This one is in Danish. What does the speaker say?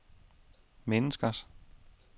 menneskers